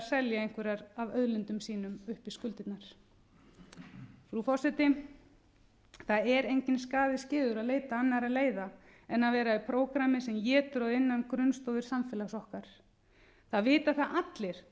selja einhverjar auðlindir sínar upp í skuldir frú forseti það er enginn skaði skeður að leita annarra leiða en að vera í prógrammi sem étur að innan grunnstoðir samfélags okkar það vita það allir